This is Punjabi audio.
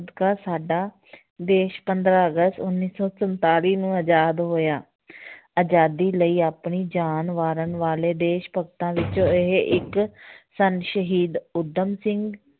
ਸਾਡਾ ਦੇਸ ਪੰਦਰਾਂ ਅਗਸਤ ਉੱਨੀ ਸੌ ਸੰਤਾਲੀ ਨੂੰ ਆਜ਼ਾਦ ਹੋਇਆ ਆਜ਼ਾਦੀ ਲਈ ਆਪਣੀ ਜਾਨ ਵਾਰਨ ਵਾਲੇ ਦੇਸ ਭਗਤਾਂ ਵਿੱਚੋਂ ਇਹ ਇੱਕ ਸਨ ਸ਼ਹੀਦ ਊਧਮ ਸਿੰਘ